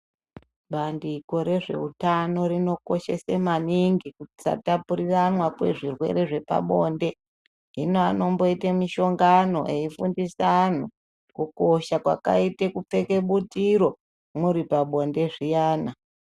Bandiko rezveutano rinokoshesa maningi kusatapuriranwa kwezvirwere zvepabonde hino anomboita mishongano eifundisa anhu kukosha kwakaita kupfeka butiro muripabonde zviyana